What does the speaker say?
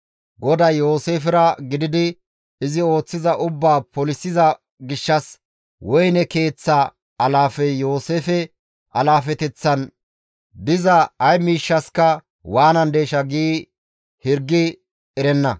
GODAY Yooseefera gididi izi ooththiza ubbaa polisiza gishshas woyne keeththaa alaafey Yooseefe alaafeteththan diza ay miishshaska waanandeesha giidi hirgi erenna.